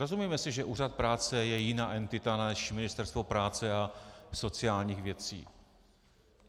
Rozumíme si, že úřad práce je jiná entita než Ministerstvo práce a sociálních věcí?